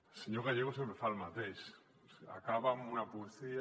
el senyor gallego sempre fa el mateix acaba amb una poesia